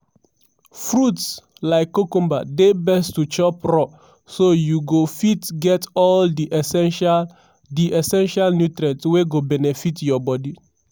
"fruits like cucumber dey best to chop raw so you go fit get all di essential di essential nutrients wey go benefit your bodi.